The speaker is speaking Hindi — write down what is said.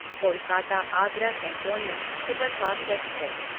Kolkata Agra cantonment superfast express